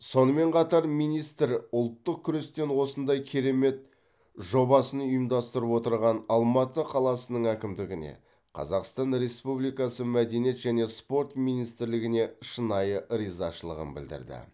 сонымен қатар министр ұлттық күрестен осындай керемет жобасын ұйымдастырып отырған алматы қаласының әкімдігіне қазақстан республикасы мәдениет және спорт министрлігіне шынайы ризашылығын білдірді